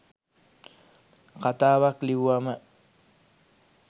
කතාවක් ලිව්වම